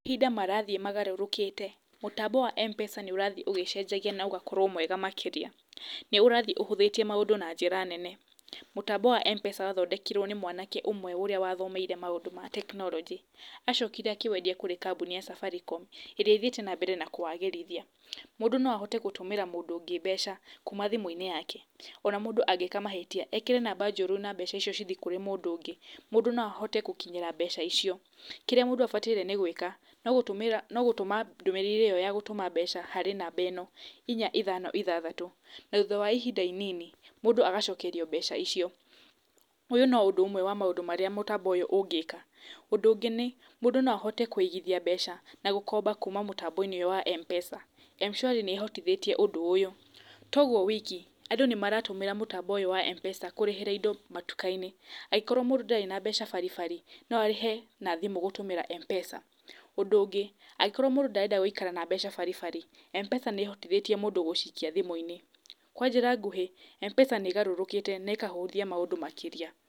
Mahinda marathiĩ magarũrũkĩte, mũtambo wa M-Pesa nĩ ũrathiĩ ũgĩcenjagia na ũgakorwo mwega makĩria. Nĩ ũrathiĩ ũhũthĩtie maũndũ na njĩra nene. Mũtambo wa M-Pesa wathondekirwo nĩ mwanake ũmwe ũrĩa wathomeire maũndũ ma technology. Acokire akĩwendia kũrĩ kambuni ya Safaricom ĩrĩa ĩthiĩte na mbere na kwagĩrithia. Mũndũ no ahote gũtũmĩra mũndũ ũngĩ mbeca kuuma thimũ-inĩ yake. Ona mũndũ angĩka mahĩtia, ekĩre namba njũru ona mbeca icio cithiĩ kũrĩ mũndũ ũngĩ, mũndũ no ahote gũkinyĩra mbeca icio. Kĩrĩa mũndũ abataire nĩ gwĩka, no gũtũma ndũmĩrĩri iyo ya gutũma mbeca harĩ namba ĩno; inya ithano ithathatũ na thutha wa ihinda inini, mũndũ agacokerio mbeca icio. Ũyũ no ũndũ ũmwe wa maũndũ marĩa mũtambo ũyũ ũngĩka. Ũndũ ũngĩ nĩ mũndũ no ahote kũigithia mbeca na gũkomba kuma mũtambo-inĩ ũyũ wa M-Pesa. M-Shwari nĩ ĩhotithĩtie ũndũ ũyũ. To ũguo wiki, andũ nĩ maratũmĩra mũtambo ũyũ wa M-Pesa kũrĩhĩra indo matuka-inĩ. Angĩkorwo mũndũ ndarĩ na mbeca baribari no arĩhe na thimũ gũtũmĩra M-Pesa. Ũndũ ũngĩ angĩkorwo mũndũ ndarenda gũikara na mbeca baribari, M-Pesa nĩ ĩhotithĩtie mũndũ gũcikia thimũ-inĩ. Kwa njĩra nguhĩ, M-Pesa nĩ ĩgarũrũkĩte na ĩkahũthia maũndũ makĩria.